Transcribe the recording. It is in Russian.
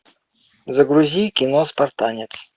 загрузи кино спартанец